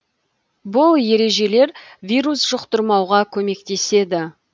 бұл ережелер вирус жұқтырмауға көмектеседі